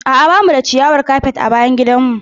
A'a ba mu da ciyawar kafet a bayan gidanmu.